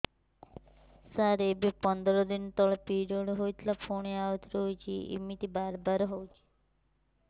ସାର ଏବେ ପନ୍ଦର ଦିନ ତଳେ ପିରିଅଡ଼ ହୋଇଥିଲା ପୁଣି ଆଉଥରେ ହୋଇଛି ଏମିତି ବାରମ୍ବାର ହଉଛି